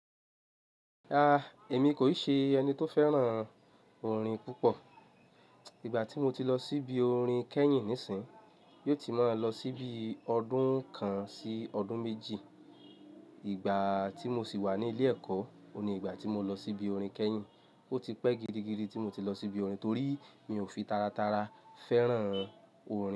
Rárá, èmi kò ì ṣe ẹni tó fẹ́ràn orin púpọ̀. Ìgbà tí mo ti lọ síbi orin kẹ́yìn nísìyín, yóò ti máa lọ síbi ọdún kan sí ọdún méjì. Ìgbà tí mo sì wà ní ilé ẹ̀kọ́, oun ni ìgbà tí mo lọ síbi orin kẹ́yìn. O ti pẹ́ gidigidi tí mo ti lọ síbi orin torí mi ò fi tara tara fẹ́ràn orin.